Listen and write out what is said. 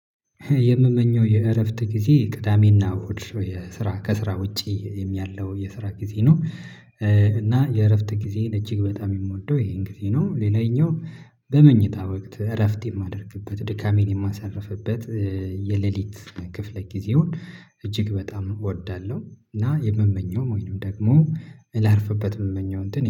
የምመኘው የእረፍት ጊዜ ቅዳሜና እሁድ የስራ ከስራ ውጪ ያለው የስራ ጊዜ ነው። እና የእረፍት ጊዜ እጅግ በጣም የምወደው ይሄን ጊዜ ነው። ሌላኛው በመኝታ ወቅት እረፍት የማደርግበት ድካሜን የማሳርፍበት። የሌሊት ክፍለ ጊዜውን እጅግ በጣም እወዳለሁ። እና የምመኘው መሆኑን ደግሞ ላርፍበት የምመኘው እንትን